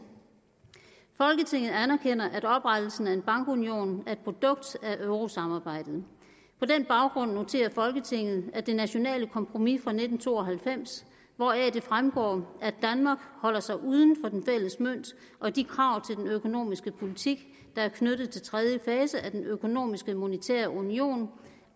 folketinget anerkender at oprettelsen af en bankunion er et produkt af euro samarbejdet på den baggrund noterer folketinget at det nationale kompromis fra nitten to og halvfems hvoraf det fremgår at danmark holder sig uden for den fælles mønt og de krav til den økonomiske politik der er knyttet til tredje fase af den økonomiske monetære union